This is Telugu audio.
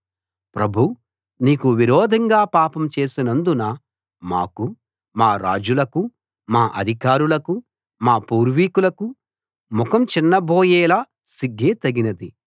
ప్రభూ నీకు విరోధంగా పాపం చేసినందున మాకు మా రాజులకు మా అధికారులకు మా పూర్వీకులకు ముఖం చిన్నబోయేలా సిగ్గే తగినది